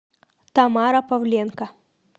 тамара павленко